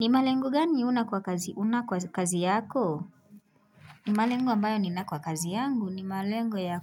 Ni malengo gani huna kwa kazi yako ni malengo ambayo nina kwa kazi yangu ni malengo ya